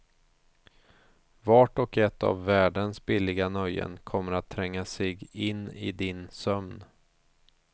Vart och ett av världens billiga nöjen kommer att tränga sig in i din sömn.